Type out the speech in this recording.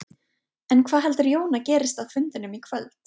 En hvað heldur Jón að gerist á fundinum í kvöld?